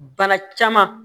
Bana caman